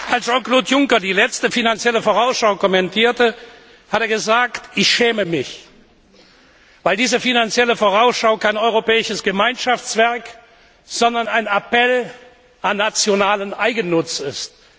Als Jean Claude Juncker die letzte Finanzielle Vorausschau kommentierte, hat er gesagt Ich schäme mich, weil diese Finanzielle Vorausschau kein europäisches Gemeinschaftswerk, sondern ein Appell an nationalen Eigennutz ist.